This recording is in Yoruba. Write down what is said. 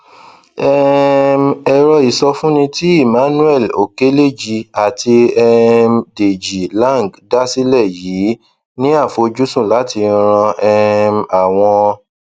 um ẹrọ ìsọfúnni tí emmanuel okeleji àti um deji lang dá sílè yìí ní àfojúsùn láti ran um àwọn